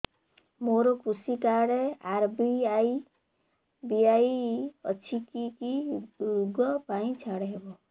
ମୋର କୃଷି card RSBY ଅଛି କି କି ଋଗ ପାଇଁ ଛାଡ଼ ହବ